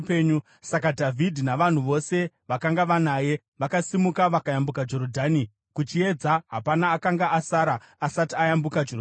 Saka Dhavhidhi navanhu vose vakanga vanaye vakasimuka vakayambuka Jorodhani. Kuchiedza, hapana akanga asara asati ayambuka Jorodhani.